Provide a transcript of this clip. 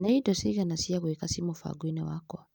Nĩ indo cigana cia gwĩka ci mũbango-inĩ wakwa ?